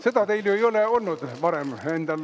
Seda teil ju ei ole varem olnud?